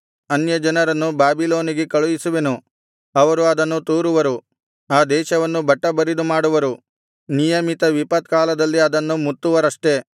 ಅನ್ಯಜನರನ್ನು ಬಾಬಿಲೋನಿಗೆ ಕಳುಹಿಸುವೆನು ಅವರು ಅದನ್ನು ತೂರುವರು ಆ ದೇಶವನ್ನು ಬಟ್ಟಬರಿದು ಮಾಡುವರು ನಿಯಮಿತ ವಿಪತ್ಕಾಲದಲ್ಲಿ ಅದನ್ನು ಮುತ್ತುವರಷ್ಟೆ